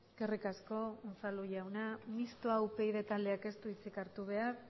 eskerrik asko unzalu jauna mistoa upyd taldeak ez du hitzik hartu behar